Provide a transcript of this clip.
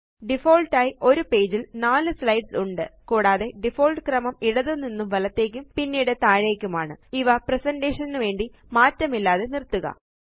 default ആയി ഒരു പേജിൽ 4 സ്ലൈഡ്സ് ഉണ്ട് കൂടാതെ ഡിഫാൾട്ട് ക്രമം ഇടത്തു നിന്നും വലത്തേയ്ക്കും പിന്നെ താഴേയ്ക്കുമാണ് ഇവ പ്രസന്റേഷൻ നുവേണ്ടി മാറ്റമില്ലാതെ നിര്ത്തുക